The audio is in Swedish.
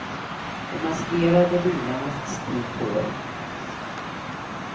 De maskerade bilarnas tid på året.